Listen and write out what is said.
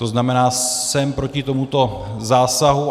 To znamená, jsem proti tomuto zásahu.